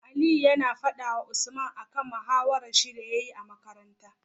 Aliyu yAna fada wa Usman akan mahawarar shi da yayi a makaranta